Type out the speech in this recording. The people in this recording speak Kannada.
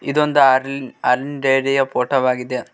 ಇದೊಂದು ಹಾಲ್ ಹಾಲಿನ್ ಡೈರಿ ಯ ಫೋಟೋ ವಾಗಿದೆ.